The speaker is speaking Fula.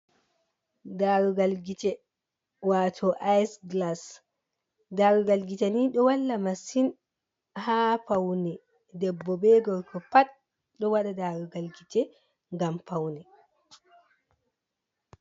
Darugal gite wato ice gilas, darugal gite ni ɗo walla masin ha faune debbo be gorko pat ɗo waɗa darugal gite ngam faune.